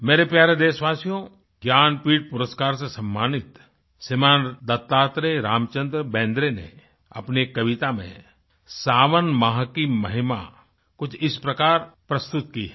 मेरे प्यारे देशवासियो ज्ञानपीठ पुरस्कार से सम्मानित श्रीमान दत्तात्रेय रामचंद्र बेंद्रे ने अपनी एक कविता में सावन माह की महिमा कुछ इस प्रकार प्रस्तुत की है